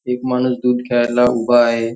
एक माणूस दूध घ्यायला उभा आहे.